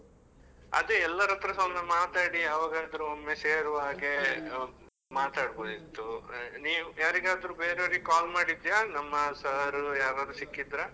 ಅದೇ ಎಲ್ಲರತ್ರಸಾ ಒಮ್ಮೆ ಮಾತಾಡಿ ಯಾವಾಗಾದ್ರೂ ಒಮ್ಮೆ ಸೇರುವ ಹಾಗೆ ಮಾತಾಡ್ಬೋದಿತ್ತು, ನೀವ್ ಯಾರಿಗಾದ್ರು ಬೇರೆಯವರಿಗೆ call ಮಾಡಿದ್ಯಾ ನಮ್ಮ sir ಯಾರಾರು ಸಿಕ್ಕಿದ್ರಾ?